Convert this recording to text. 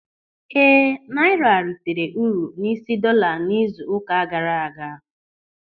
Ee, naịra reitere uru n'isi dọọla n'izu ụka gaara aga.